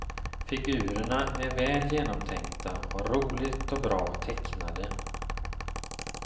Figurerna är väl genomtänkta och roligt och bra tecknade.